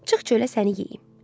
Çıx çölə səni yeyim.